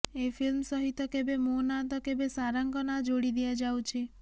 ଏ film ସହିତ କେବେ ମୋ ନାଁ ତ କେବେ ସାରାଙ୍କ ନାଁ ଯୋଡ଼ି ଦିଆଯାଉଛି